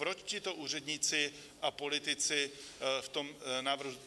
Proč tito úředníci a politici v tom návrhu?